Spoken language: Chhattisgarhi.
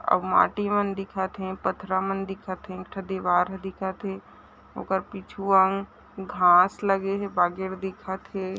अब माटी मन दिखत हे पथरा मन दिखत हे एक ठो दिवार ह दिखत ओकर पिछुआ घास लगे हे बागेड़ दिखत हे ।